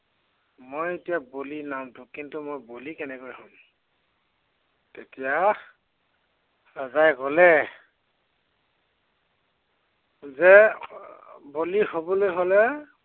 মই এতিয়া বলি নামটো কিন্তেু মই বলি কেনেকা হম। তেতিয়া ৰজাই কলে যে এৰ বলি হবলৈ হলে